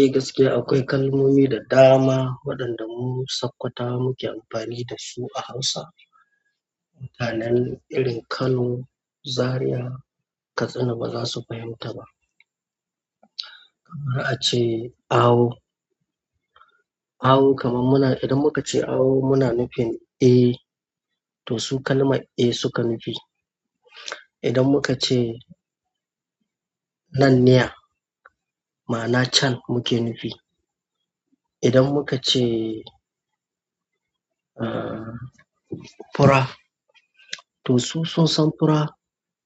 Eh gaskiya akwai kalmomi da dama waɗanda mu sakwatawa muke amfani da su a Hausa. Mutanen irin Kano, Zariya, Katsina ba za su fahimta ba. Kamar a ce awo, awo kaman muna idan muka ce awo muna nufin eh, to su kalman eh suka nufi. Idan muka ce nan niya, ma'ana can muke nufi. Idan muka ce, fura, to su sun san fura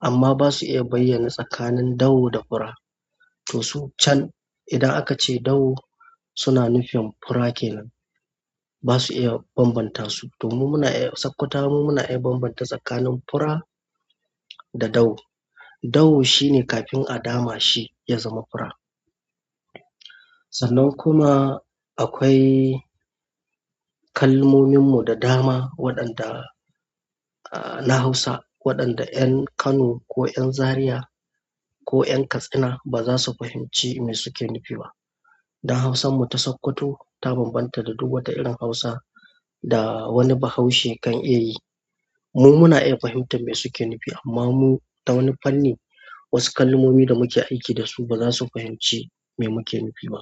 amma basu iya bayyana tsakanin dawo da fura to su can idan aka ce dawo suna nufin fura kenan. Basu iya bambanta su, to mu muna iya, sakkwatawa mu muna iya bambanta tsakanin fura da dawo, dawo shine kafin a dama shi ya zama fura sannan kuma akwai kalmomin mu da dama waɗanda na hausa waɗanda ƴan kano ko ƴan zariya ko ƴan katsina baza su fahimci me suke nufi ba, don hausar mu ta Sakkwato ta bambanta da duk wata irin hausa da wani Bahaushe kan iya yi mu muna iya fahimtar me suke nufi amma mu ta wani fanni wasu kalmomi da muke aiki da su ba za su fahimci me muke nufi ba.